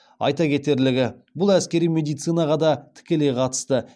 айта кетерлігі бұл әскери медицинаға да тікелей қатысты